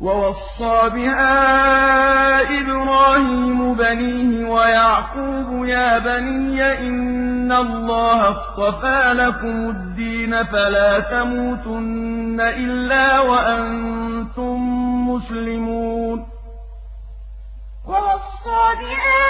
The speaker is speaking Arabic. وَوَصَّىٰ بِهَا إِبْرَاهِيمُ بَنِيهِ وَيَعْقُوبُ يَا بَنِيَّ إِنَّ اللَّهَ اصْطَفَىٰ لَكُمُ الدِّينَ فَلَا تَمُوتُنَّ إِلَّا وَأَنتُم مُّسْلِمُونَ وَوَصَّىٰ بِهَا